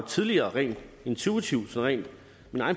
tidligere rent intuitivt og rent